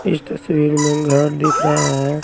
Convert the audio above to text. इस तस्वीर में घर दिख रहा हैं।